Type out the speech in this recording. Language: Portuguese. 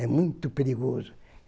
É muito perigoso.